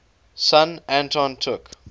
son anton took